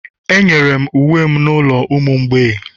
Enyere m uwe m n'ụlọ ụmụ mgbei